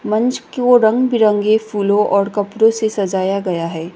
मंच की ओर रंग बिरंगी फूलों और कपड़ों से सजाया गया है।